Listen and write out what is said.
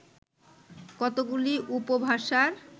কতগুলি উপভাষার